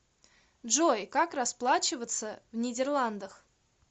джой как расплачиваться в нидерландах